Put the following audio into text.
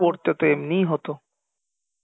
পড়তে তো এমনই হতো